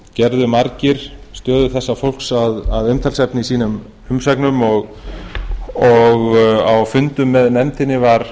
gerðu margir stöðu þessa fólks að umtalsefni í sem umsögnum og á fundum eð nefndinni var